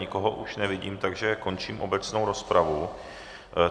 Nikoho už nevidím, takže končím obecnou rozpravu.